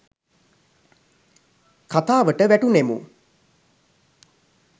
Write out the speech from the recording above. කතාවට වැටුනෙමු.